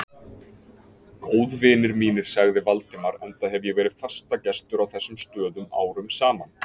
Góðvinir mínir sagði Valdimar, enda hef ég verið fastagestur á þessum stöðum árum saman